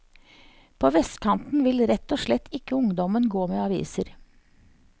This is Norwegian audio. På vestkanten vil rett og slett ikke ungdommen gå med aviser.